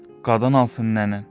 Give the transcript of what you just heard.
Qadan alsın nənən.